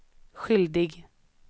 skyldig